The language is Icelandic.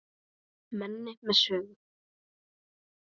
Manni með sögu.